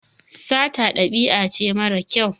Sata ɗabi'a ce mara kyau.